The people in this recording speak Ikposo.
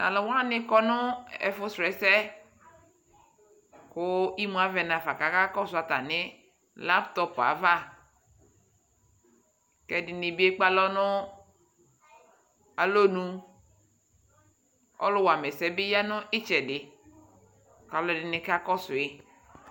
Talu wane kɔ no ɛfu srɔsɛ ko imu avɛ nafa kaka kɔso atane latop avaƐde ne be ekpe alɔ no alɔnuƆluwwamɛsɛ ne ya no itsɛde ka alu de ne ka kɔsoe